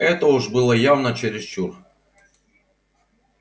это уж было явно чересчур